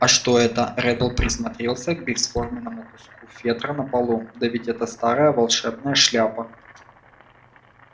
а это что реддл присмотрелся к бесформенному куску фетра на полу да ведь это старая волшебная шляпа